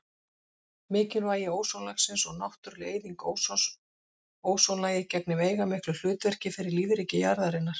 Mikilvægi ósonlagsins og náttúruleg eyðing ósons Ósonlagið gegnir veigamiklu hlutverki fyrir lífríki jarðarinnar.